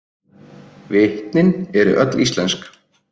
Vitnin eru öll íslensk